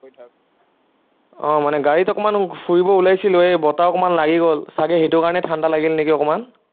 আহ মানে গাড়ীত অকনমান ফুৰিব ওলাইছিলো, এৰ বতাহ অকনমান লাগি গল, চাগে সেইটো কাৰনে ঠাণ্ডা লাগিল নেকি অকনমান